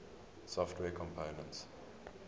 software components